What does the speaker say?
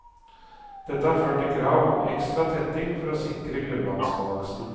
Dette har ført til krav om ekstra tetting for å sikre grunnvannbalansen.